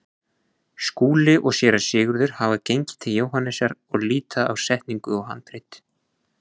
Skúli og Séra Sigurður hafa gengið til Jóhannesar og líta á setningu og handrit.